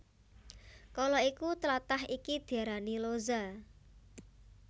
Kala iku tlatah iki diarani Loza